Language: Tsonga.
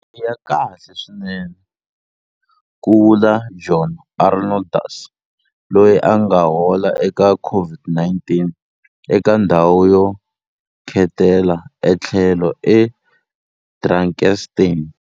I ya kahle swinene, ku vula John Arnoldus, loyi a nga hola eka COVID-19 eka ndhawu yo khetela ethlhelo eDrakenstein.